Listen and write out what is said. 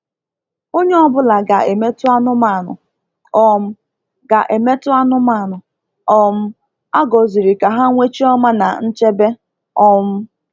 Onye ọ bụla ga-emetụ anụmanụ um ga-emetụ anụmanụ um a gọziri ka ha nwee chioma na nchebe. um